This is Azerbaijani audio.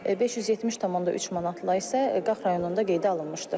570,3 manatla isə Qax rayonunda qeydə alınmışdır.